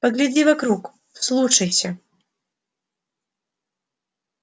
погляди вокруг вслушайся